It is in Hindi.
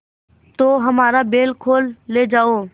तो हमारा बैल खोल ले जाओ